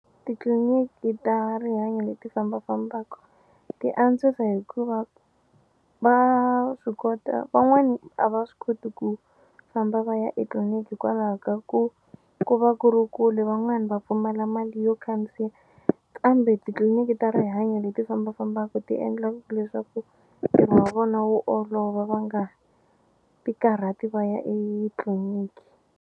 Titliliniki ta rihanyo leti fambafambaka ti antswisa hikuva va swi kota van'wani a va swi koti ku famba va ya etliliniki hikwalaho ka ku ku va ku ri kule van'wani va pfumala mali yo khandziya kambe titliliniki ta rihanyo leti fambafambaku ti endla leswaku ntirho wa vona wu olova va nga ti karhati va ya etliliniki.